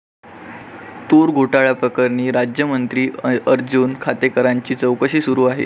तूर घोटाळ्याप्रकरणी राज्यमंत्री अर्जून खोतकरांची चौकशी सुरू